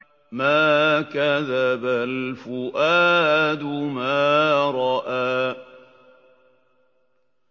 مَا كَذَبَ الْفُؤَادُ مَا رَأَىٰ